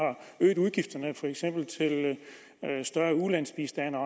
øget udgifterne til ulandsbistanden og